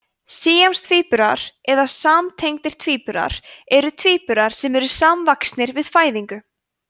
síamstvíburar eða samtengdir tvíburar eru tvíburar sem eru samvaxnir við fæðingu